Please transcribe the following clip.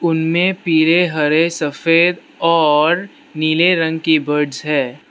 उनमें पीले हरे सफेद और नीले रंग की बर्डस है।